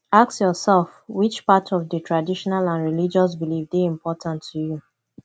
ask yourself which part of di traditional and religious belief de important to you